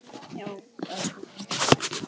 Já, elskan.